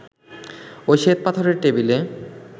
ওই শ্বেতপাথরের টেবিলে